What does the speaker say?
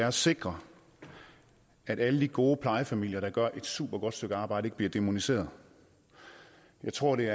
at sikre at alle de gode plejefamilier der gør et supergodt stykke arbejde ikke bliver dæmoniseret jeg tror det